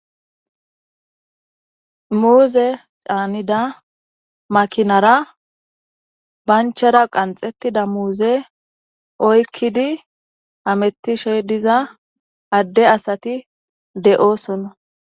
Muuze caanida makinara banchera qanxettida muuze oykkidi hamettishe diza adde asati de'oosonna.